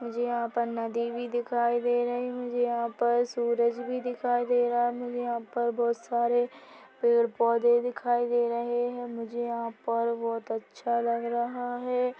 मुझे यहाँ पर नदी भी दिखाई दे रही है मुझे यहाँ पर सूरज भी दिखाई दे रहा है मुझे यहाँ पर बहुत सारे पेड़-पौधे दिखाई दे रहे है मुझे यहाँ पर बहुत अच्छा लग रहा है।